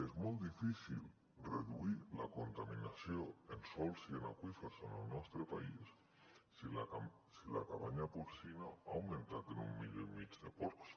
és molt difícil reduir la contaminació en sòls i en aqüífers en el nostre país si la cabanya porcina ha augmentat en un milió i mig de porcs